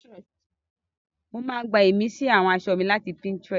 Mo máa ń gbá ìmísí àwọn aṣọ mi láti Pinterest